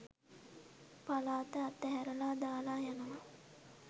පලාත අත හැරලා දාලා යනවා.